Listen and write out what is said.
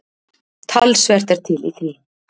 Talsvert er til í því.